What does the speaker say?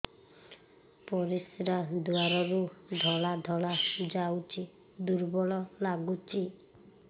ପରିଶ୍ରା ଦ୍ୱାର ରୁ ଧଳା ଧଳା ଯାଉଚି ଦୁର୍ବଳ ଲାଗୁଚି